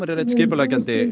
er einn skipuleggjandi